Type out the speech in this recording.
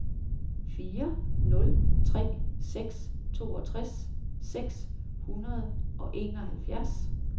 fire nul tre seks toogtres seks hundrede og enoghalvfjerds